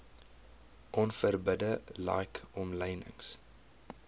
onverbidde like omlynings